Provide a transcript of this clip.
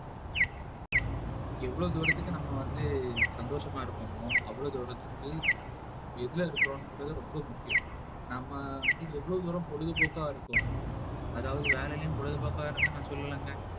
எவ்வளவு தூரத்துக்கு நம்ம வந்து சந்தோஷமா இருப்போமோ அவ்வளவு தூரத்துக்கு எதுல இருக்கிறோங்கிறது ரொம்ப முக்கியம் நாம வந்து எவ்வளவு தூரம் பொழுதுபோக்கா இருக்கோமோ அதாவது வேலையிலும் பொழுதுபோக்கா இருங்க நான் சொல்லலைங்க